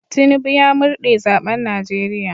Tinubu ya murde zaben Najeriya."